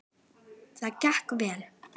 Það gekk vel.